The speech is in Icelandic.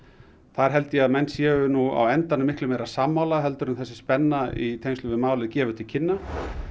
þar held ég að menn séu á endanum miklu meira sammála heldur en þessi spenna í tengslum við málið gefur til kynna